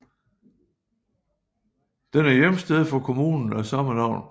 Den er hjemsted for kommunen af samme navn